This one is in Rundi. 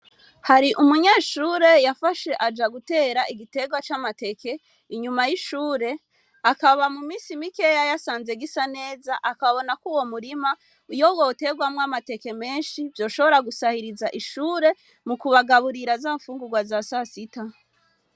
Hari umunyeshure yafashe aja gutera igitegwa camateke inyuma yishure akaba mu minsi mikeya yasanze gisa neza akabonako uwo murima iyo woterwamwo amateke menshi vyoshobora gusahiriza ishure mukubagaburira za mfungurwa zasasita.